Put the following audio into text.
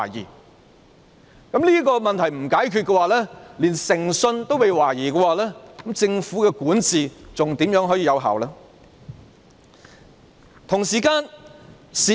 如果這個問題未能解決，而當局連誠信也被懷疑的話，政府如何可以有效管治呢？